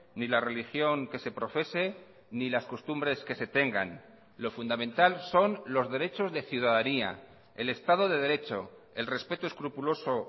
ni la religión que se profese ni las costumbres que se tengan lo fundamental son los derechos de ciudadanía el estado de derecho el respeto escrupuloso